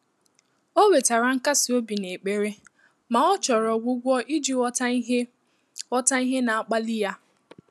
Ọ́ nwètàrà nkàsị́ óbí n’ékpèré mà ọ́ chọ́rọ̀ ọ́gwụ́gwọ́ ìjí ghọ́tà ìhè ghọ́tà ìhè nà-ákpàlí yá.